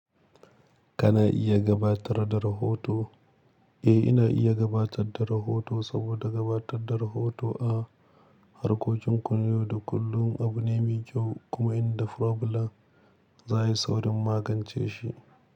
Kana iya gabatar da rahoto? Eh ina iya gabatar da rahoto saboda gabatar da rahoto a harkokin kunu da kullum abu ne mai kyau kuma in da problem za a yi saurin magance shi.